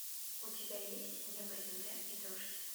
у тебя есть небо земля и дождь